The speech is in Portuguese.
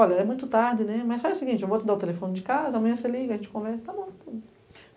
Olha, é muito tarde, né, mas faz o seguinte, eu vou te dar o telefone de casa, amanhã você liga, a gente conversa, tá bom.